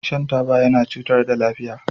Shan taba yana cutar yana cutar da lafiya.